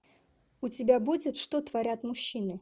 у тебя будет что творят мужчины